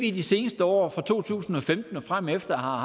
i de seneste år fra to tusind og femten og fremefter har